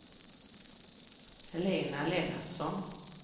Helena Lennartsson